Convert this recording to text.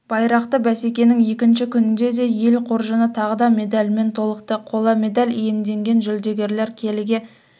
байрақты бәсекенің екінші күнінде де ел қоржыны тағы да медальмен толықты қола медаль иемденген жүлдегерлер келіге